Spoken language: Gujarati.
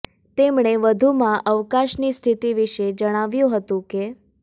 તેમણે વધુમાં અવકાશ ની સ્થિતિ વિશે જણાવ્યું હતું કે